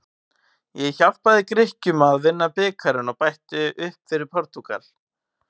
Ég hjálpaði Grikkjum að vinna bikarinn og bætti upp fyrir Portúgal.